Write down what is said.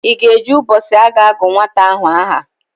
Ị ga-eje ụbọchị a ga-agụ nwata ahụ aha?